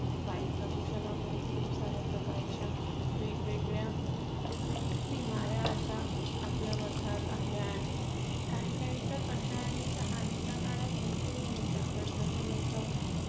वायु प्रदूषणामुळे खूप साऱ्या प्रकारच्या वेगेगळ्या बिमाऱ्या आता आपल्या मधात आल्या आहेत, काही काही तर आश्या आहेत ज्या आधीच्या काळात बिलकुल नव्हत्या. but जसं जसं